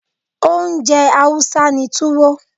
Oúnjẹ Hausa ni Tuwo.